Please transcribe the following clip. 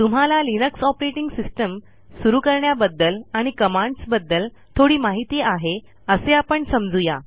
तुम्हाला Linux operating system सुरू करण्याबद्दल आणि कमांडसबद्दल थोडी माहिती आहे असे आपण समजू या